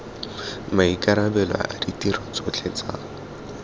maikarabelo a ditiro tsotlhe tsa